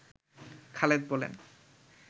খালেদ বলেন